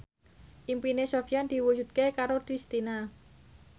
impine Sofyan diwujudke karo Kristina